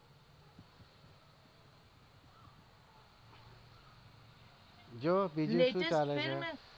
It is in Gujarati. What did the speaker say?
જો બીજુ શો ચાલે છે?